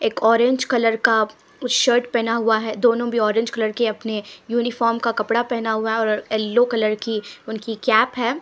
एक orange colour का कुछ शर्ट पहना हुआ है दोनों भी ऑरेंज कलर के अपने यूनिफॉर्म का कपड़ा पहना हुआ है और येलो कलर की उनकी कैप है।